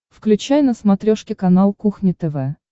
включай на смотрешке канал кухня тв